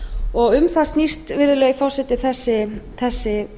og um það snýst virðulegi forseti þessi